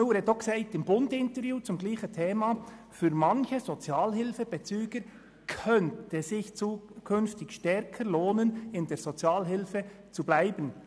Müller hat im «Bund»-Interview zum selben Thema auch gesagt: «Es könnte aber tatsächlich so sein, dass es sich für manche arbeitenden Sozialhilfebezüger künftig stärker lohnt, in der Sozialhilfe zu bleiben.